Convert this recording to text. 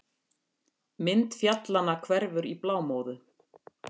Mynd fjallanna hverfur í blámóðu.